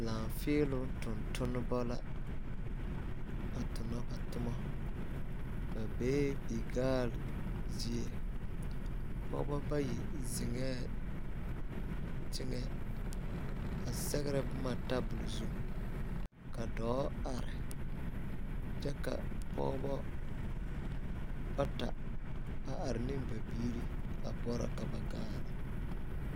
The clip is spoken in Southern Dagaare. Laaƒeeloŋ tontomba la a tona ba toma ba bee bigaal zie pɔgeba bayi zeŋɛɛ teŋɛ a sɛgere boma tabol zu ka dɔɔ are kyɛ ka pɔgeba bata are ne ba biiri a boɔrɔ ka ba gaale